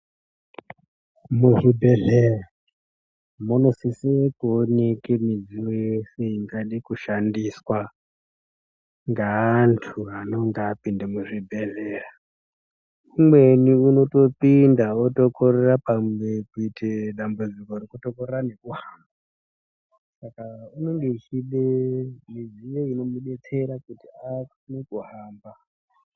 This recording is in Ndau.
Muzvi bhedhleya muno sisiye kuonekwa midziyo yeshe ingade kushandiswa ngeantu anenge apinde muzvi bhedhleya umweni unoyopinda otokorera kuita pamwe dambudziko rekutokorera nekuhamba saka unenge echide midziyo ino mudetsera kuti akone kuhamba.